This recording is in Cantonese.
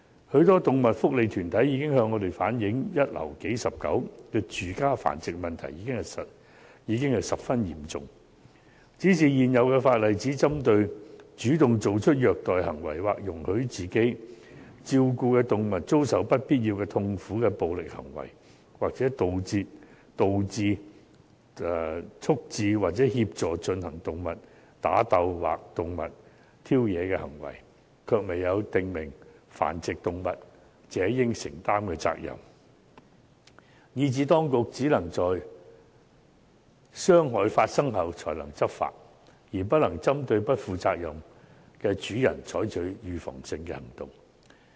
許多動物福利團體向我們反映，"一樓數十狗"的住家繁殖問題十分嚴重，但現行法例只針對主動作出虐待行為或容許自己照顧的動物遭受"不必要的痛苦"的暴力行為，或"導致、促致或協助進行動物打鬥或動物挑惹的行為"，卻未有訂明繁殖動物者應承擔的責任，以致當局只可以在傷害發生後才能執法，而不能針對不負責任的主人採取預防性行動。